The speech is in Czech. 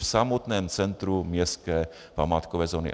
V samotném centru městské památkové zóny.